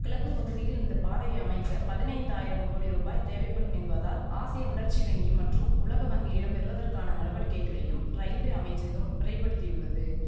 கிழக்கு பகுதியில் இந்த பாதையை அமைக்க பதினைந்தாயிரம் கோடி ரூபாய் தேவைப்படும் என்பதால் ஆசிய வளர்ச்சி வங்கி மற்றும் உலக வங்கியிடம் பெறுவதற்கான நடவடிக்கைகளையும் ரயில்வே அமைச்சகம் பிரைபடுத்தியுள்ளது